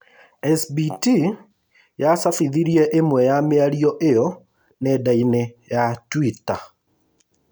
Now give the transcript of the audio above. SBT yacabithirie ĩmwe ya mĩario iyo nendainĩ ya Twitter